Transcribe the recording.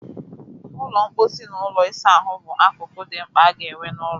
Ụlọ mkposi na ụlọ ịsa ahụ bụ akụkụ dị mkpa aga-enwe n'ụlọ